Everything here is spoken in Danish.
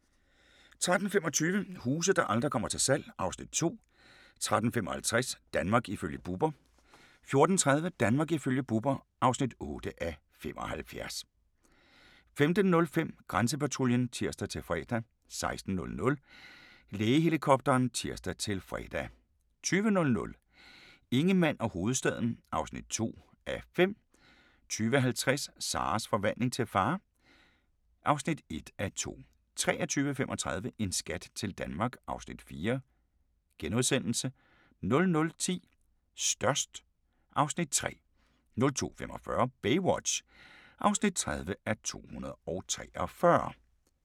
13:25: Huse der aldrig kommer til salg (Afs. 2) 13:55: Danmark ifølge Bubber 14:30: Danmark ifølge Bubber (8:75) 15:05: Grænsepatruljen (tir-fre) 16:00: Lægehelikopteren (tir-fre) 20:00: Ingemann og hovedstaden (2:5) 20:50: Sarahs forvandling til far (1:2) 23:35: En skat til Danmark (Afs. 4)* 00:10: Størst (Afs. 3) 02:45: Baywatch (30:243)